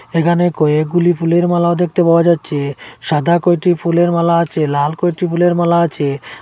এখানে কয়েকগুলি ফুলের মালাও দেখতে পাওয়া যাচ্ছে সাদা কয়টি ফুলের মালা আছে লাল কয়টি ফুলের মালা আছে।